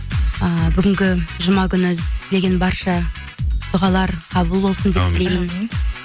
ыыы бүгінгі жұма күні тілеген барша дұғалар қабыл болсын деп тілеймін әумин